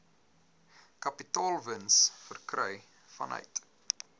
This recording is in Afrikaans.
kapitaalwins verkry vanuit